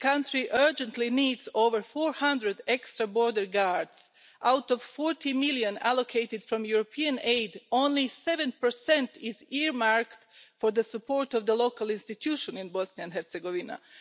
The country urgently needs over 400 extra border guards. Out of EUR 40 million allocated from European aid, only 7 is earmarked for the support of local institutions in Bosnia and Herzegovina.